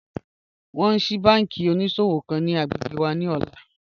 Wọn ń ṣíí bànkí oníṣọ̀wọ̀ kan ni agbẹ́gbẹ́ wà ni ọ̀lá